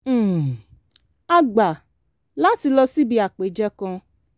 um a gbà láti lọ síbi àpèjẹ kan